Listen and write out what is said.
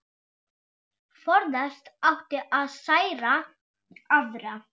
Forðast átti að særa aðra.